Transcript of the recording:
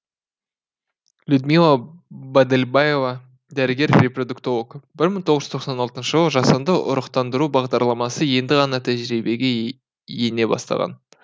людмила бадельбаева дәрігер репродуктолог бір мың тоғыз жүз тоқсан алтыншы жылы жасанды ұрықтандыру бағдарламасы енді ғана тәжірибеге ене бастаған